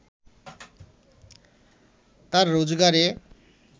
তার রোজগারে